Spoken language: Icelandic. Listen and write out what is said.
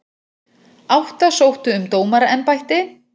Átta sóttu um dómaraembætti